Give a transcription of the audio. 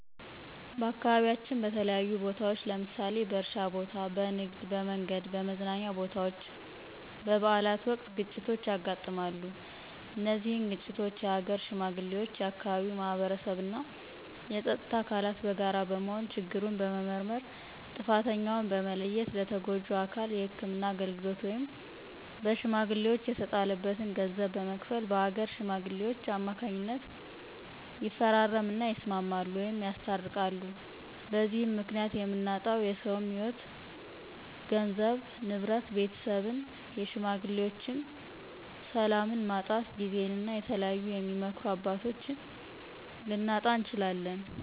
በአካባቢያችን በተለያዩ ቦታዎች ለምሳሌ በእርሻ ቦታ፣ በንግድ፣ በመንገድ፣ በመዝናኛ ቦታወች፣ በበአላት ወቅት ግጭቶች ያጋጥማሉ። እነዚህን ግጭቶች የሀገር ሽማግሌዎች፣ የአካባቢው ማህበረሰብ እና የፀጥታ አካላት በጋራ በመሆን ችግሩን በመመርመር ጥፍተኛውን በመለየት ለተጎጁ አካል የህክምና አገልግሎት ወይም በሽሜግሌወች የተጣለበትን ገንዘብ በመክፈል በአገር ሽማግሌወች ከማካኝነት ይፈራረም እና ይስማማሉ ወይም ያስታርቃሉ። በዚህም ምክኒያት የምናጣው የሰውም ህይዎት ገንዘብ፣ ንብረት፣ ቤተሰብን የሽማግሌዎችን፣ ሰላምን ማጣት ጊዜን እና የተለያዩ የሚመክሩን አባቶች ልናጣ እንችላለን።